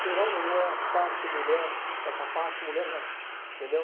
Ser homem não é achar que mulher é capaz, mulher não. Entendeu?